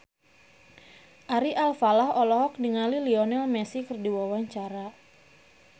Ari Alfalah olohok ningali Lionel Messi keur diwawancara